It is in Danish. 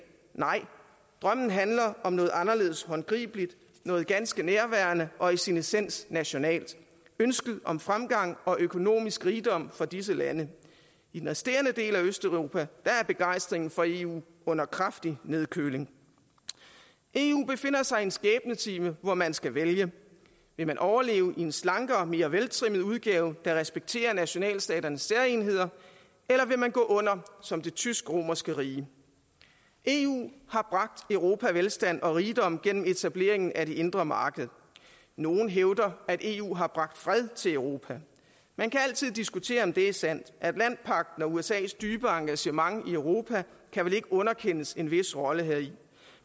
nej drømmen handler om noget anderledes håndgribeligt noget ganske nærværende og i sin essens nationalt ønsket om fremgang og økonomisk rigdom for disse lande i den resterende del af østeuropa er begejstringen for eu under kraftig nedkøling eu befinder sig i en skæbnetime hvor man skal vælge vil man overleve i en slankere og mere veltrimmet udgave der respekterer nationalstaternes særegenheder eller vil man gå under som det tysk romerske rige eu har bragt europa velstand og rigdom gennem etableringen af det indre marked nogle hævder at eu har bragt fred til europa man kan altid diskutere om det er sandt atlantpagten og usas dybere engagement i europa kan vel ikke underkendes en vis rolle heri